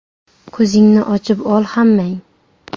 Ko‘zingni ochib ol hammang.